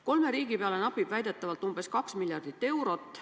Kolme riigi peale napib väidetavalt 2 miljardit eurot.